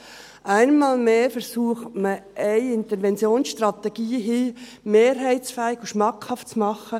Einmal mehr versucht man hier, eine Interventionsstrategie mehrheitsfähig und schmackhaft zu machen.